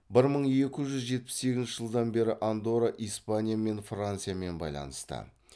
бір мың екі жүз жетпіс сегізінші жылдан бері андорра испания мен франциямен байланысты